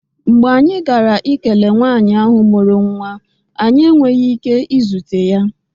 Mgbe anyị gara ikele nwanyị ahụ mụrụ nwa, anyị enweghị ike izute ya